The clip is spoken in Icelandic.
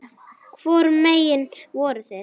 Hvorum megin voruð þið?